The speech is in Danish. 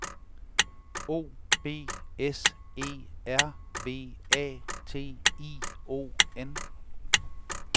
O B S E R V A T I O N